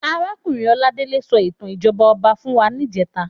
Àrákúnrín Oladele sò itàn ijòbá òbá fún wá nijètá